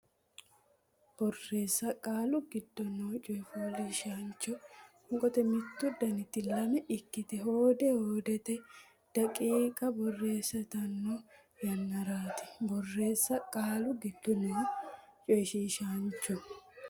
Borreessa qaalu giddo noo coyishiishaancho qoonqo mittu daniti lame ikkite hoode hoodete daqiiqa borreessantanno yannaraati Borreessa qaalu giddo noo coyishiishaancho.